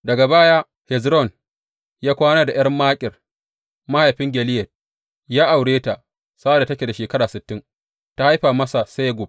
Daga baya, Hezron ya kwana da ’yar Makir mahaifin Gileyad ya aure ta sa’ad da take da shekara sittin, ta haifa masa Segub.